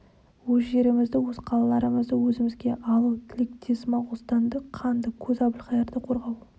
өз жерімізді өз қалаларымызды өзімізге алу тілектес моғолстанды қанды көз әбілқайырдан қорғау